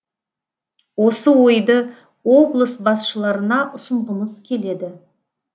осы ойды облыс басшыларына ұсынғымыз келеді